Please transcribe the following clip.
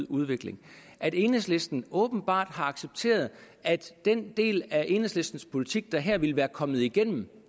udvikling at enhedslisten åbenbart har accepteret at den del af enhedslistens politik der her ville være kommet igennem